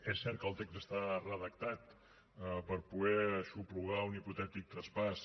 és cert que el text està redactat per poder aixoplugar un hipotètic traspàs